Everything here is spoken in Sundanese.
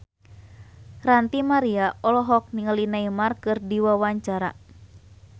Ranty Maria olohok ningali Neymar keur diwawancara